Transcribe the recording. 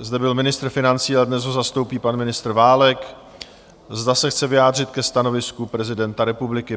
zde byl ministr financí a dnes ho zastoupí pan ministr Válek, zda se chce vyjádřit ke stanovisku prezidenta republiky?